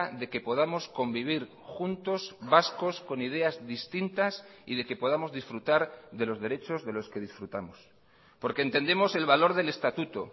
de que podamos convivir juntos vascos con ideas distintas y de que podamos disfrutar de los derechos de los que disfrutamos porque entendemos el valor del estatuto